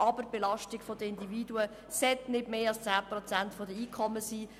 Aber die Belastung der Individuen sollte nicht mehr als 10 Prozent der Einkommen betragen.